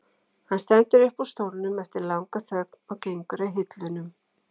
Hann stendur upp úr stólnum eftir langa þögn og gengur að hillunum.